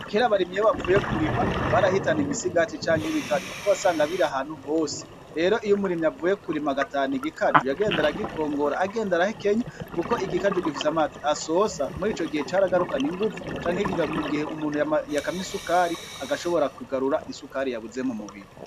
Kera abarimyi iyo bavuye kurima barahitana imisigati canke ibikaju kuko wasanga biri ahantu hose rero iyo umurimyi avuye kurima agatahana igikaju yagenda aragikokora agenda arahekenya kuko igikaju gifise amazi asosa murico gihe caragarukana inguvu canke umuntu yakamye isukari agashobora kugarura isukari yabuze mumubiri.